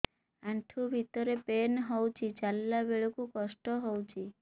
ଆଣ୍ଠୁ ଭିତରେ ପେନ୍ ହଉଚି ଚାଲିଲା ବେଳକୁ କଷ୍ଟ ହଉଚି